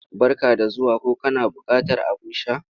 Barka da zuwa ko kana buƙatar abin sha?